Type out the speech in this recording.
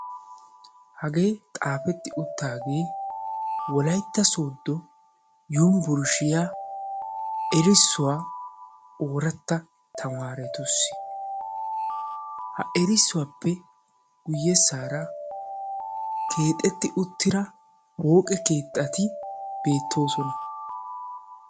hagee xaafetti uttaagee wolaytta sooddo yumiburshshiya erissuwaa ooratta tamaaratussi ha erissuwaappe guyyessaara keexetti uttida pooqe keettati beettoosona